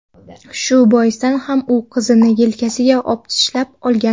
Shu boisdan ham u qizni yelkasiga opichlab olgan.